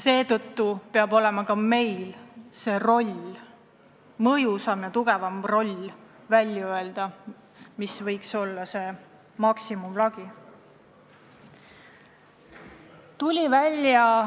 Seetõttu peab meie roll olema mõjusam ka selle üle otsustamisel, mis võiks olla koosseisu suuruse lagi.